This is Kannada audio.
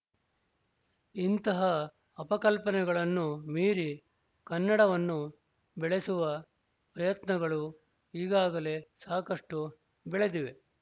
ಇಂತಹ ಅಪಕಲ್ಪನೆಗಳನ್ನು ಮೀರಿ ಕನ್ನಡವನ್ನು ಬೆಳೆಸುವ ಪ್ರಯತ್ನಗಳು ಈಗಾಗಲೇ ಸಾಕಷ್ಟು ಬೆಳದಿವೆ